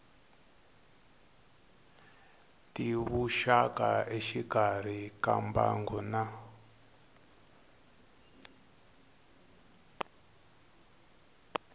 tivuxaka exikarhi ka mbangu na